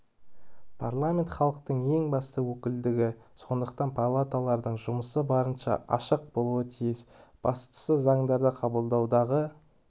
парламент халықтың ең басты өкілдігі сондықтан палаталардың жұмысы барынша ашық болуы тиіс бастысы заңдарды қабылдаудағы